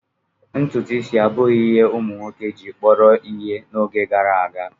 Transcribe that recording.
Ntutu isi abụghị ihe ụmụ nwoke gị kpọrọ ihe n'oge gara aga.